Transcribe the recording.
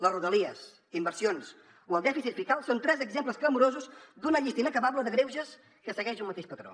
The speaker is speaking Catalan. les rodalies les inversions o el dèficit fiscal són tres exemples clamorosos d’una llista inacabable de greuges que segueix un mateix patró